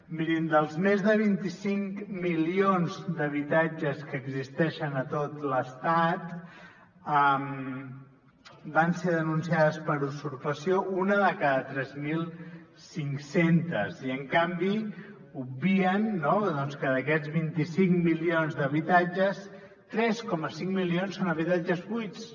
mirin dels més de vint cinc milions d’habitatges que existeixen a tot l’estat van ser denunciats per usurpació un de cada tres mil cinc cents i en canvi obvien no que d’aquests vint cinc milions d’habitatges tres coma cinc milions són habitatges buits